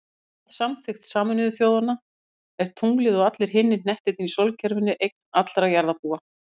Samkvæmt samþykkt Sameinuðu þjóðanna er tunglið, og allir hinir hnettirnir í sólkerfinu, eign allra jarðarbúa.